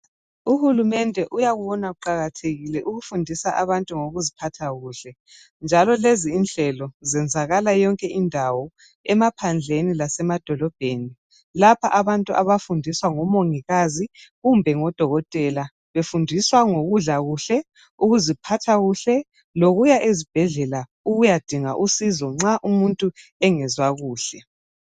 Uhulumende uyakubona kuqakathekile ukufundisa abantu ngokuziphatha kuhle. Njalo lezi inhlelo zenzakala kuyo yonke indawo, emaphandleni lasemadolobheni. Lapha abantu abafundiswa ngomongikazi kumbe ngodokotela, befundiswa ngokudla kuhle, ukuziphatha kuhle lokuya ezibhedlela ukuyadinga usizo nxa umuntu engezwa kuhle.